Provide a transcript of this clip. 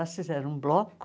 Elas fizeram um bloco,